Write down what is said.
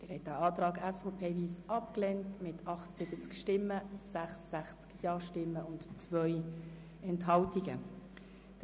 Sie haben den Antrag mit 78 Nein-Stimmen und 66 Ja-Stimmen bei 2 Enthaltungen abgelehnt.